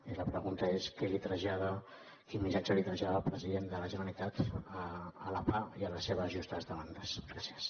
i la pregunta és què trasllada quin missatge trasllada el president de la generalitat a la pah i a les seves justes demandes gràcies